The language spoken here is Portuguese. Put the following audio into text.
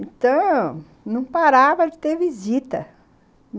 Então, não parava de ter visita.